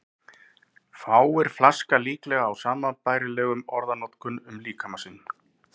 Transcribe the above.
Fáir flaska líklega á sambærilegri orðanotkun um líkama sinn.